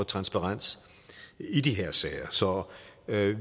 transparens i de her sager så